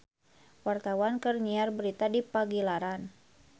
Wartawan keur nyiar berita di Pagilaran